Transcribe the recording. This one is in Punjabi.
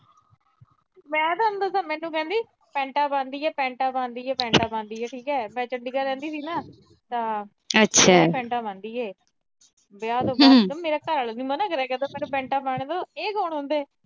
ਮੈਂ ਦੱਸਾ ਮੈਨੂੰ ਕਹਿੰਦੀ ਪੈਂਟਾਂ ਪਾਉਂਦੀ ਆ, ਅਹ ਪੈਂਟਾਂ ਪਾਉਂਦੀ ਆ, ਅਹ ਪੈਂਟਾਂ ਪਾਉਂਦੀ ਆ। ਮੈਂ ਚੰਡੀਗੜ੍ਹ ਰਹਿੰਦੀ ਸੀ ਨਾ ਠੀਕ ਆ। ਤਾਂ ਪੈਂਟਾਂ ਪਾਉਂਦੀ ਆ। ਵਿਆਹ ਤੋਂ ਬਾਅਦ ਮੇਰਾ ਘਰ ਆਲਾ ਨੀ ਮੈਨੂੰ ਮਨਾ ਕਰਿਆ ਕਰਦਾ ਪੈਂਟਾਂ ਪਾਉਣ ਤੋਂ, ਇਹ ਕੌਣ ਹੁੰਦੇ।